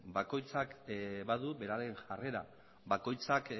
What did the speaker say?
bakoitzak badu bere jarrera bakoitzak